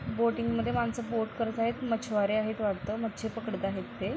Boating मध्ये माणसं boat करत आहेत मछवारे आहेत वाटतं मच्छी पकडत आहेत ते.